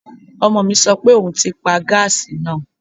Ọmọ mi sọ pé òun ti paa gáàsì náà